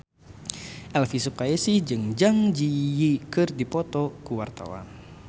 Elvi Sukaesih jeung Zang Zi Yi keur dipoto ku wartawan